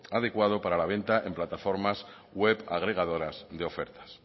adecuado para la venta en plataformas web agregadoras de ofertas